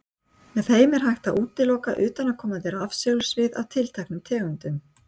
Með þeim er hægt að útiloka utanaðkomandi rafsegulsvið af tilteknum tegundum.